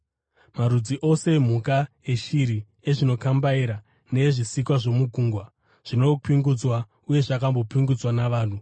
Marudzi ose emhuka, eshiri, ezvinokambaira neezvisikwa zvomugungwa zvinopingudzwa uye zvakambopingudzwa navanhu,